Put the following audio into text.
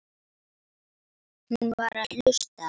Hún var að hlusta.